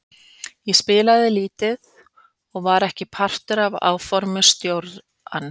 Ég spilaði lítið og var ekki partur af áformum stjórans.